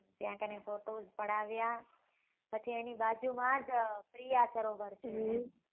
ત્યાં કને photos પડાવ્યા પછી તેની બાજુ માં જ પ્રિયા સરોવર છે એમ